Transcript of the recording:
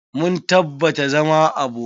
Mun tabbata zama abokai.